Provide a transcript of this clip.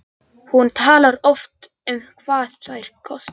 Hún talar oft um hvað þeir kostuðu.